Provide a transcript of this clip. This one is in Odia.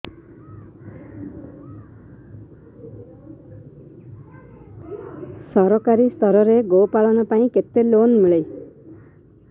ସରକାରୀ ସ୍ତରରେ ଗୋ ପାଳନ ପାଇଁ କେତେ ଲୋନ୍ ମିଳେ